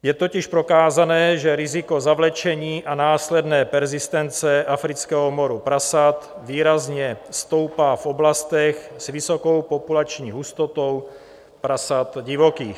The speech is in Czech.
Je totiž prokázané, že riziko zavlečení a následné perzistence afrického moru prasat výrazně stoupá v oblastech s vysokou populační hustotou prasat divokých.